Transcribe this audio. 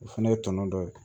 O fɛnɛ ye tɔnɔ dɔ ye